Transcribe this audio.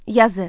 Yazı.